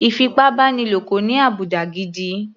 Ìfipábánilo kò ní àbùdá gidi.